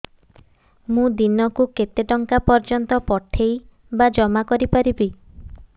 ମୁ ଦିନକୁ କେତେ ଟଙ୍କା ପର୍ଯ୍ୟନ୍ତ ପଠେଇ ବା ଜମା କରି ପାରିବି